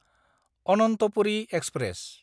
Ananthapuri express